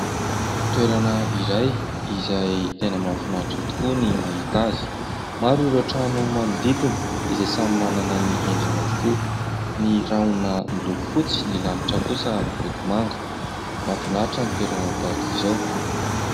Toerana iray izay tena mahafinaritra tokoa ny mahita azy. Maro ireo trano manodidina izay samy manana ny endriny avokoa. Ny rahona miloko fotsy, ny lanitra kosa miloko manga. Mahafinaritra ny toerana tahaka izao.